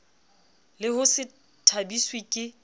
le ho se thabiswe ke